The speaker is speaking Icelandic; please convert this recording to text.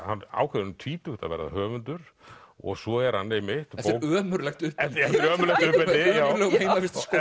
hann ákveður um tvítugt að verða höfundur og svo er hann einmitt eftir ömurlegt uppeldi í ömurlegum heimavistarskóla